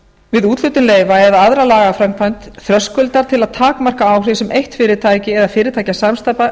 við úthlutun leyfa eða aðra lagaframkvæmd þröskuldar til að takmarka áhrif sem eitt fyrirtæki eða fyrirtækjasamsteypa